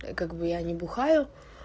как бы я не бухаю